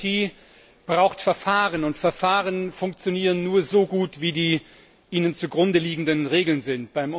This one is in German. Demokratie braucht Verfahren, und Verfahren funktionieren nur so gut, wie die ihnen zugrunde liegenden Regeln sind.